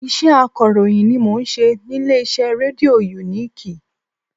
Iṣẹ́ akọ̀ròyìn ni mo n ṣe ní ilé iṣẹ́ rédíò uniki